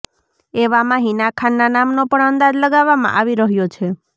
એવામાં હિના ખાનના નામનો પણ અંદાજ લગાવવામાં આવી રહ્યો છે